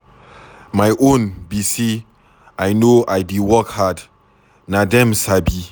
My own be say I no I dey work hard, na dem sabi.